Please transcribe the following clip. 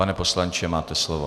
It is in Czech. Pan poslanče, máte slovo.